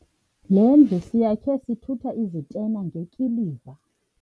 Le ndlu siyakhe sithutha izitena ngekiliva.